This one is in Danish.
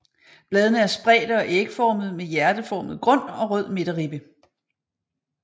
Bladene er spredte og ægformede med hjerteformet grund og rød midterribbe